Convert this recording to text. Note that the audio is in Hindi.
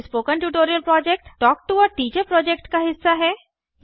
spoken tutorial talk to a teacher project का हिस्सा है